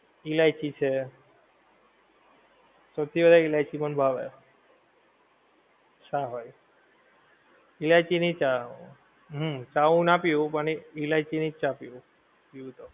ઈલાયચી છે સૌધી વધારે ઈલાયચી મને ભાવે ચા હોએ ઈલાયચી ની ચા હોએ હમ ચા હું ના પીવું પણ ઈલાયચી ની ચા પીવું પીવું તો